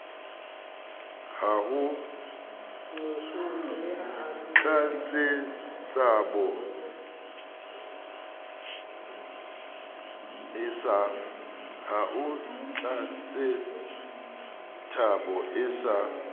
ha ho tletsethabo e sa